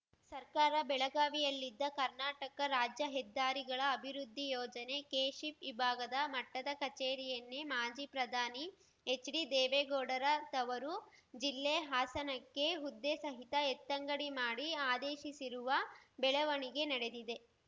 ಸರ್ಕಾರ ಬೆಳಗಾವಿಯಲ್ಲಿದ್ದ ಕರ್ನಾಟಕ ರಾಜ್ಯ ಹೆದ್ದಾರಿಗಳ ಅಭಿವೃದ್ಧಿ ಯೋಜನೆ ಕೆಶಿಪ್‌ ವಿಭಾಗ ಮಟ್ಟದ ಕಚೇರಿಯನ್ನೇ ಮಾಜಿ ಪ್ರಧಾನಿ ಎಚ್‌ಡಿ ದೇವೇಗೌಡರ ತವರು ಜಿಲ್ಲೆ ಹಾಸನಕ್ಕೆ ಹುದ್ದೆಸಹಿತ ಎತ್ತಂಗಡಿ ಮಾಡಿ ಆದೇಶಿಸಿರುವ ಬೆಳವಣಿಗೆ ನಡೆದಿದೆ